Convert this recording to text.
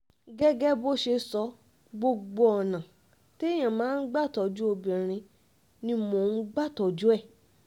gẹ́gẹ́ bó ṣe sọ gbogbo ọ̀nà um téèyàn máa ń gbà tọ́jú obìnrin ni mò ń um gbà tọ́jú ẹ̀